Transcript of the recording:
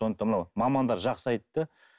сондықтан мынау мамандар жақсы айтты